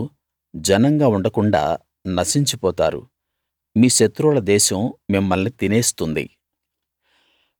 మీరు జనంగా ఉండకుండాా నశించి పోతారు మీ శత్రువుల దేశం మిమ్మల్ని తినేస్తుంది